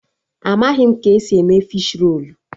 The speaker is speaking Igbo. Amaghị m ka esi eme fishi rolu